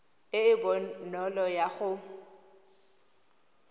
e e bonolo ya go